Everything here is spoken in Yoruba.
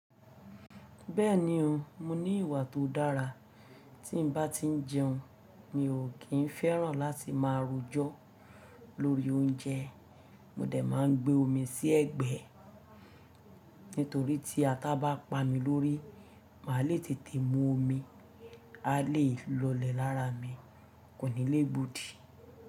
Bẹ́ẹ̀ni o, mo ní ìwà tó dára. Tí n bá ti ń jẹun, mi ò kí ń fẹ́ràn láti máa rojọ́ lórí oúnjẹ. Mò dé máa ń gbé omi sí ẹ̀gbẹ́, nítorí tí ata bá pa mi lórí, màá le tètè mú omi, a le lọlẹ̀ lára mi, kò ní lé e gbodì.